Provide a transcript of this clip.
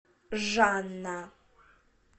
жанна